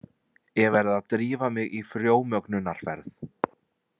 Ég verð að drífa mig í frjómögnunarferð.